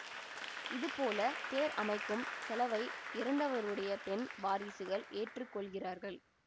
இது போல தேர் அமைக்கும் செலவை இறந்தவருடைய பெண் வாரிசுகள் ஏற்று கொள்கிறார்கள்